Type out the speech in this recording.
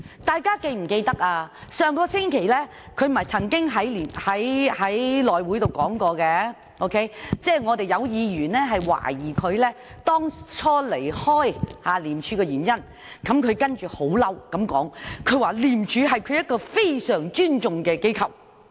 大家是否記得，在上星期的內務委員會會議上，曾有議員懷疑他離開廉署的原因，於是他很生氣地說，廉署是他非常尊重的機構。